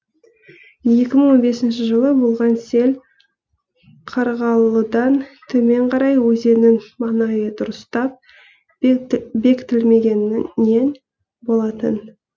екі мың он бесінші жылы болған сел қарғалыдан төмен қарай өзеннің маңайы дұрыстап бекітілмегенінен болатын